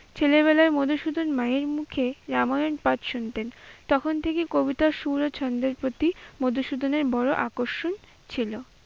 ছেলেবেলায় মধুসুদন মায়ের মুখে রামায়ন পাঠ শুনতেন, তখন থেকেই কবিতার সুর ও ছন্দের প্রতি মধুসুদনের বড় আকর্ষণ ছিল।